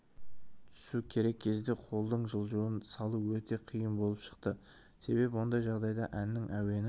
түсу керек кезде қолдың жылжуын салу өте қиын болып шықты себебі ондай жағдайда әннің әуені